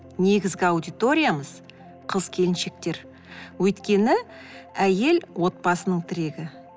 негізгі аудиториямыз қыз келіншектер өйткені әйел отбасының тірегі